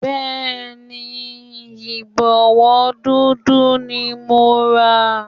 Bẹ́ẹ̀ni, Ìbọ̀wọ́ dúdú ni mo rà